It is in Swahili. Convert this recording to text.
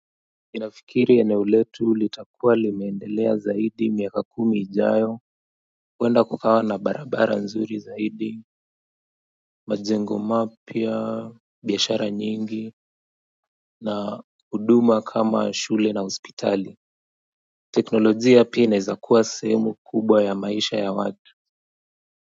Inafikiri eneo letu litakuwa limeendelea zaidi miaka kumi ijayo huenda kukawa na barabara nzuri zaidi majengo mapya, biashara nyingi na huduma kama shule na hospitali teknolojia pia inaezakuwa sehemu kubwa ya maisha ya watu.